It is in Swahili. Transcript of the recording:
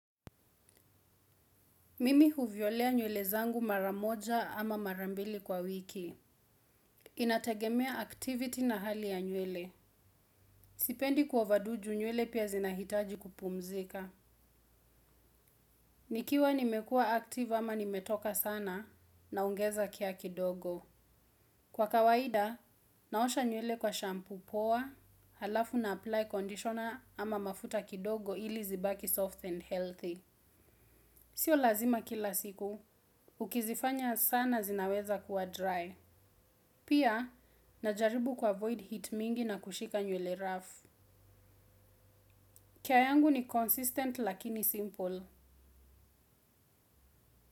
Mimi huviolea nywele zangu maramoja ama marambili kwa wiki. Inategemea activity na hali ya nywele. Sipendi ku over do ju nywele pia zinahitaji kupumzika. Nikiwa nimekua active ama nimetoka sana na ongeza kia kidogo. Kwa kawaida, naosha nywele kwa shampoo poa, halafu na apply conditioner ama mafuta kidogo ili zibaki soft and healthy. Sio lazima kila siku, ukizifanya sana zinaweza kuwa dry. Pia, najaribu kuavoid heat mingi na kushika nywele rough. Care yangu ni consistent lakini simple.